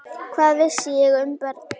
Hvað vissi ég um börn?